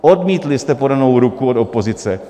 Odmítli jste podanou ruku od opozice.